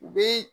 U bɛ